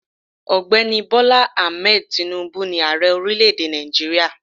Ògbéni Bola Ahmed Tinubu ni Ààrẹ orílẹ̀ èdè Nàìjíríà